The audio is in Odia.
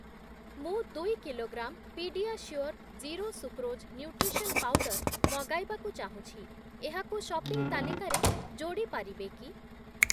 ମୁଁ ଦୁଇ kilogram PediaSure zero sucrose nutrition powder ମଗାଇବାକୁ ଚାହୁଁଛି, ଏହାକୁ ସପିଂ ତାଲିକାରେ ଯୋଡ଼ି ପାରିବେ କି?